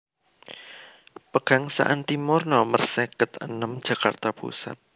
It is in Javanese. Pegangsaan Timur Nomer seket enem Jakarta Pusat